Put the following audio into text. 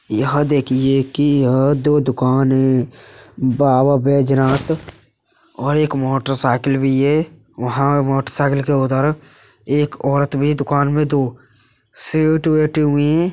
यह देखिए कि यह दो दुकान है बाबा बैजनाथ और एक मोटरसाइकिल भी है। वहाँं मोटरसाइकिल के उधर एक औरत भी है दुकान में दो सेठ बैठे हुए हैं।